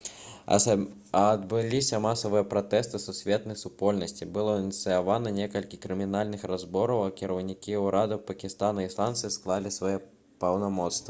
адбыліся масавыя пратэсты сусветнай супольнасці было ініцыявана некалькі крымінальных разбораў а кіраўнікі ўрадаў пакістана і ісландыі склалі свае паўнамоцтвы